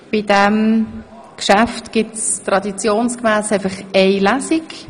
Bei diesem Geschäft gibt es traditionsgemäss nur eine Lesung.